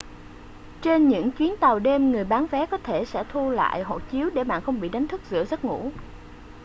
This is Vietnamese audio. trên những chuyến tàu đêm người bán vé có thể sẽ thu lại hộ chiếu để bạn không bị đánh thức giữa giấc ngủ